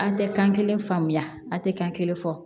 An tɛ kan kelen faamuya a tɛ kan kelen fɔ